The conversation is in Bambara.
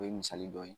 O ye misali dɔ ye